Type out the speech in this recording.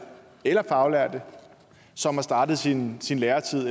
eller faglærte som har startet sin sin læretid